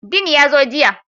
Dean ya zo jiya